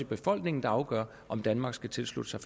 befolkningen der afgør om danmark skal tilslutte sig